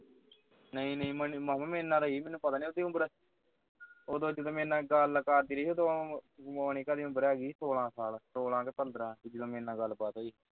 ਨਹੀਂ ਨਹੀਂ ਮਾਮਾ ਮੇਰੇ ਨਾਲ ਰਹੀ ਹੈ ਮੈਨੂੰ ਪਤਾ ਨਹੀਂ ਉਸ ਦੀ ਉਮਰ ਉਦੋਂ ਜਦੋਂ ਮੇਰੇ ਨਾਲ ਗੱਲ ਕਰਦੀ ਰਹੀ ਹੈ ਮੋਨਿਕਾ ਦੀ ਉਮਰ ਹੋ ਗਈ ਸੀ ਸੋਲਾਂ ਸਾਲ ਸੋਲਾਂ ਕੇ ਪੰਦਰਾ ਜਦੋਂ ਮੇਰੇ ਨਾਲ ਗੱਲਬਾਤ ਹੋਈ